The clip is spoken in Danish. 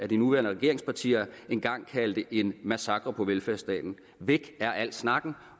de nuværende regeringspartier engang kaldte en massakre på velfærdsstaten væk er al snakken